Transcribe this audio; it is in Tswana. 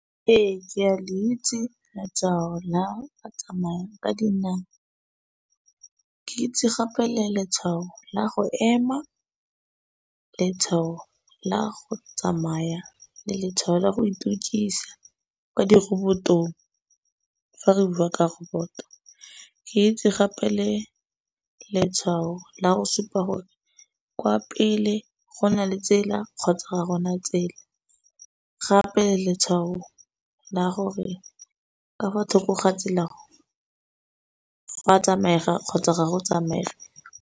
Ee, ke a le itse la go tsamaya ka dinao. Ke itse gape le letshwao la go ema, letshwao la go tsamaya le letshwao la go itukisa ka dirobotong fa re bua ka roboto. Ke itse gape le letshwao la go supa gore kwa pele go na le tsela kgotsa ga gona tsela gape letshwao la gore ka fa tlhoko gantsi la go fa tsamaega kgotsa ga go tsamaege.